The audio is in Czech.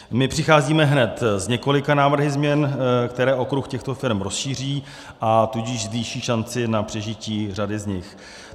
My přicházíme hned s několika návrhy změn, které okruh těchto firem rozšíří, a tudíž zvýší šanci na přežití řady z nich.